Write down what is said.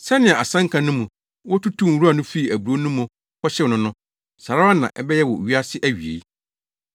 “Sɛnea asɛnka no mu, wotutuu nwura no fii aburow no mu kɔhyew no no, saa ara na ɛbɛyɛ wɔ wiase awiei.